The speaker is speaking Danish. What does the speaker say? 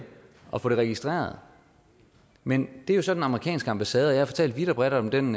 og få det registreret men det er jo så den amerikanske ambassade jeg har fortalt vidt og bredt om den